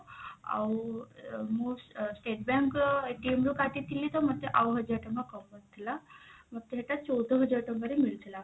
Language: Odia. ଆଉ ମୁଁ state bank ର ରୁ କାଟିଥିଲି ତ ମୋତେ ଆଉ ହଜାର ଟଙ୍କା କମ ପଡିଥିଲା ମୋତେ ସେଟା ଚଉଦ ହଜାର ଟଙ୍କା ରେ ମିଳିଥିଲା